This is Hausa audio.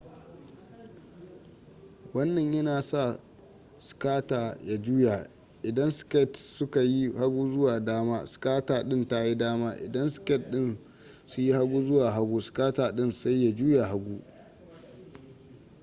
wannan yana sa skater ya juya idan skates suka yi hagu zuwa dama skater din tayi dama idan skates dinsu yi hagu zuwa hagu skater din sai ya juya hagu